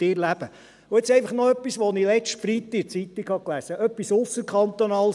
Jetzt einfach noch zu etwas, das ich letzten Freitag in der Zeitung gelesen habe, etwas Ausserkantonales;